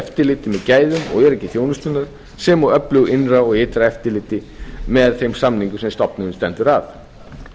með gæðum og öryggi þjónustunnar sem og öflugu innra og ytra eftirliti með þeim samningum sem stofnunin stendur að